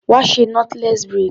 Wá ṣe knotless braid.